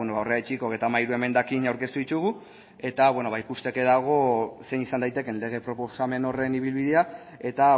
beno horregatik hogeita hamairu emendakin aurkeztu ditugu eta beno ba ikusteke dago zein izan daitekeen lege proposamen horren ibilbidea eta